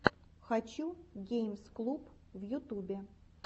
хочу геймс клуб в ютюбе